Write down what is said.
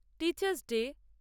teachers day